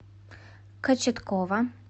кочеткова